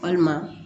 Walima